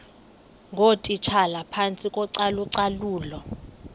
ngootitshala phantsi kocalucalulo